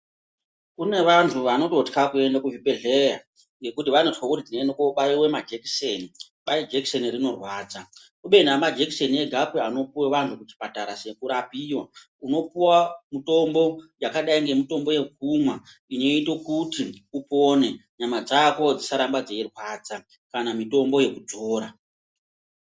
Kune vantu vanototya kuende kuzvibhehleya ngekuti vanozwe kuti tinoende kobaiwe majekiseni kwai jekiseni rinorwadza kubeni amajekesini egapi anopiwe anhu kuchipatara sekurapiwa unopuwa mitombo yakadai nemitombo yekumwa inoite kuti upone nyama dzako dzisarambe dzeirwadza kana mitombo yekudzora .